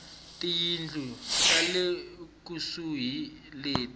tiyindlu ta le kusuhi leti